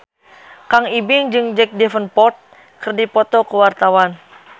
Kang Ibing jeung Jack Davenport keur dipoto ku wartawan